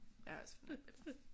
Jeg har også fundet et billede